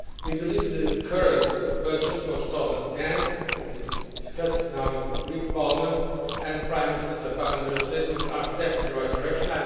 We believe the current budget for 2010 that is now being discussed in the Greek Parliament and Prime Minister Papandreou's statements are steps in the right direction.